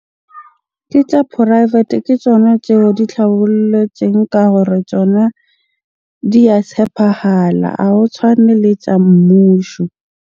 Ke tja porafete, ke tjona tseo di tlhabolletsweng ka gore tsona di ya tshepahala. Ha ho tshwane le tsa mmusho.